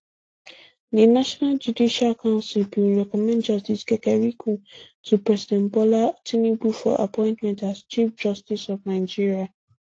di national judicial council bin recommend justice kekereekun to president bola tinubu for appointment as chief justice of nigeria